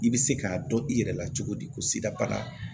I bɛ se k'a dɔn i yɛrɛ la cogo di ko sida bana